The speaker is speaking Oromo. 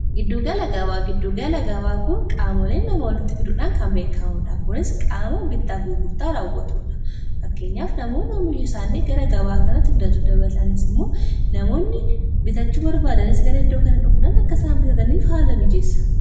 giddugala gabaa giddugala gabaa kun qaamoleen nama walitti fiduudhaan kan beekamuudha kunis qaama bittaaf gurgurtaa raawwatuudha fakkeenyaaf namoon am mishesaanii gara gabaa kanati fidatu dabatanis immoo namoonni bitachu barbaadanis gara iddoo kana dhofuudaan akka saan bitataniif haala bijeessa